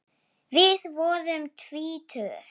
Við vorum tvítug.